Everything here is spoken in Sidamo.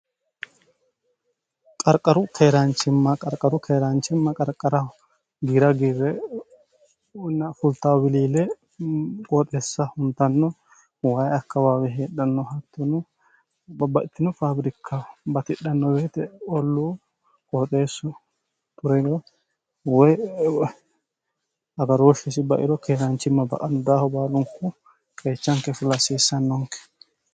qarqaru keeraanchimma qarqaru keeraanchimma qarqaraho giira giirre fultaawiliile qooxessa huntanno wayi akkabaawi heedhanno hattinu babbatinu faabirikkah batidhanno beete olluu qooxeessu turiro wy agarooshshisi bairo keeraanchimma ba aldaaho baalunku qeechanke filasiissannonke